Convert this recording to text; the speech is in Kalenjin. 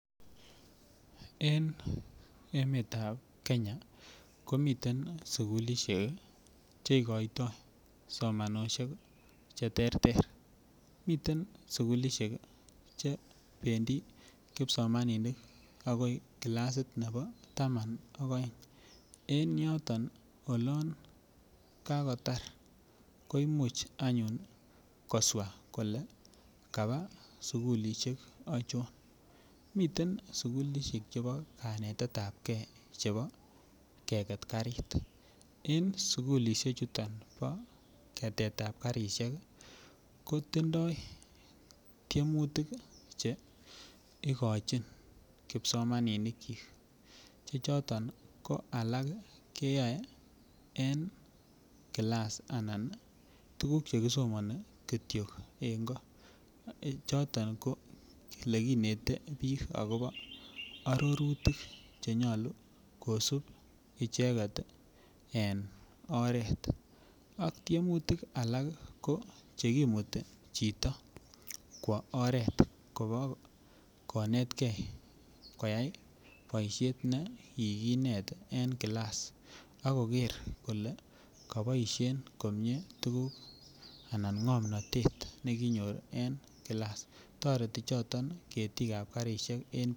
En emetab kenya komiten sugulisiek cheikoito somanosiek cheterter, miten sugulisiek che bendi kipsomaninik akoi classit taman ak aeng, en yoton ko olon kakotar koimuch anyun koswa kole kabaa sugulisiek achon ,miten sugulisiek chebo kanetab gee chebo keket karik ko en sugulisiechuton bo ketetab karisiek kotindoi tiemunitk che ikochin kipsomaninikyi che chon ko alak keyae en class anan tuguk chekisomani kityok en koo choton ko elekinete biik akopo arorutik chenyolu kosup icheket oert ak tiemutik alak ko chekimuti chito kwo oret ko kakonetke koyai boisiet nekikinet en class ako ker kole kaboisien komie tuguk anan ng'omnotet nekinyor en class toreti choton ketikab karisie en .